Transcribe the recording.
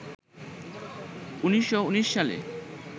১৯১৯ সালে